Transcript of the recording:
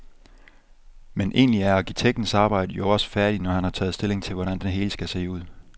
Men egentlig er arkitektens arbejde jo også færdigt, når han har taget stilling til, hvordan det hele skal se ud.